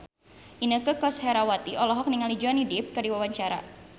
Inneke Koesherawati olohok ningali Johnny Depp keur diwawancara